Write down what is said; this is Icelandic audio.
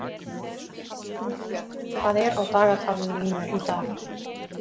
Gunnbjörn, hvað er á dagatalinu mínu í dag?